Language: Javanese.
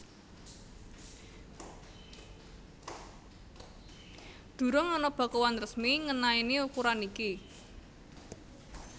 Durung ana bakuan resmi ngenaini ukuran iki